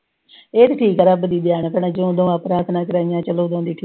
ਇਹ ਵੀ ਕੀ ਕਰਾਂ ਪ੍ਰਾਰਥਨਾ ਕਰਾਈਆਂ, ਉਦੋਂ ਦੀ ਠੀਕ ਆ।